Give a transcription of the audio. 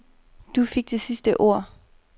Du fik det sidste ord.